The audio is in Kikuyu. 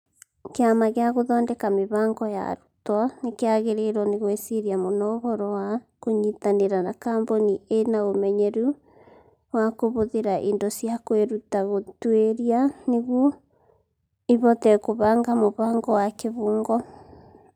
Kĩama gĩa Gũthondeka Mĩbango ya Arutwo nĩ kĩagĩrĩirwo nĩ gwĩciria mũno ũhoro wa kũnyitanĩra na kambuni ĩĩ na ũmenyeru wa kũhũthĩra indo cia kwĩruta gũtuĩria nĩguo ĩhote kũbanga mũbango wa kĩbungo.